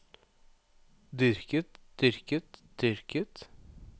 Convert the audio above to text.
dyrket dyrket dyrket